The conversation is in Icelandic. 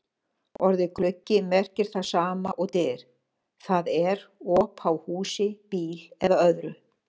Orðið gluggi merkir það sama og dyr, það er op á húsi, bíl eða öðru.